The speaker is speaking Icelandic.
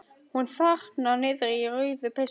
Hún þarna niðri í rauðu peysunni.